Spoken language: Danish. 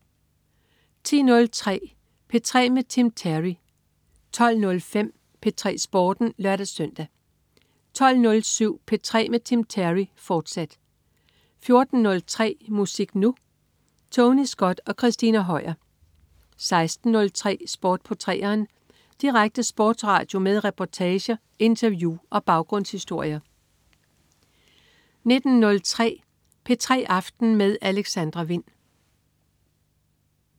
10.03 P3 med Tim Terry 12.05 P3 Sporten (lør-søn) 12.07 P3 med Tim Terry, fortsat 14.03 Musik Nu! Tony Scott og Christina Høier 16.03 Sport på 3'eren. Direkte sportsradio med reportager, interview og baggrundshistorier 19.03 P3 aften med Alexandra Wind